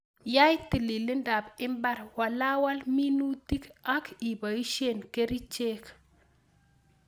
Yai tililindab mbar, walwal minutik ak ibosien kerichek.